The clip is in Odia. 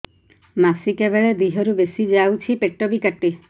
ମାସିକା ବେଳେ ଦିହରୁ ବେଶି ଯାଉଛି ପେଟ ବି କାଟେ